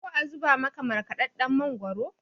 ko a zubo maka markadadden mangoro?